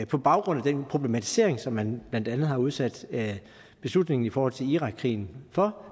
på baggrund af den problematisering som man blandt andet har udsat beslutningen i forhold til irakkrigen for